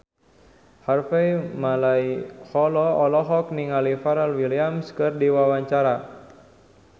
Harvey Malaiholo olohok ningali Pharrell Williams keur diwawancara